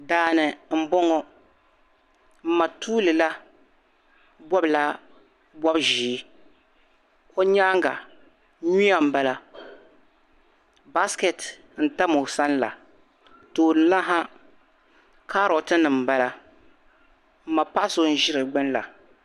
Daani m bɔŋɔ m ma tuulila bɔbila bɔb'ʒee o nyaaŋa nyuya m bala basiketi tam o sani la tooni la ha karotinima m bala m ma paɣ'so ʒi di gbuni la